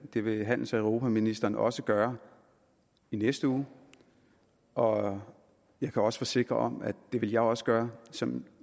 det vil handels og europaministeren også gøre i næste uge og jeg kan også forsikre om at det vil jeg også gøre som